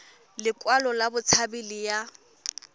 lekwalo la botshabi le ya